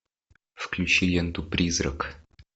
включи ленту призрак